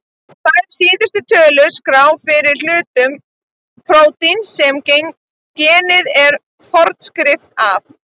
Þær síðast töldu skrá fyrir hlutum prótíns sem genið er forskrift að.